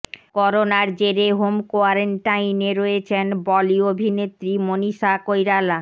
করোনার জেরে হোম কোয়ারেন্টাইনে রয়েছেন বলি অভিনেত্রী মনীষা কৈরালা